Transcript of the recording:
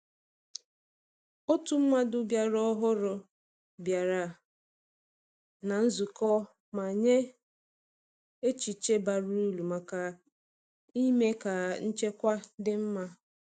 Otu mmadụ ọhụrụ bịara na nzukọ ma nye echiche bara uru maka ime ka nchekwa dị mma.